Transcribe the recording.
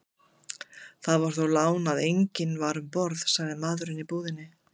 Það var þó lán að enginn var um borð, sagði maðurinn í búðinni.